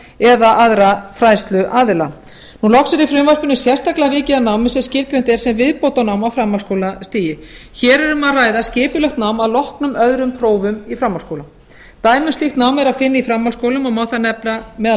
eða aðra fræðsluaðila loks er í frumvarpinu sérstaklega vikið að námi sem skilgreint er sem viðbótarnám á framhaldsskólastigi hér er um að ræða skipulagt nám að loknum öðrum prófum í framhaldsskóla dæmi um slíkt nám er að finna í framhaldsskólum og má þar nefna meðal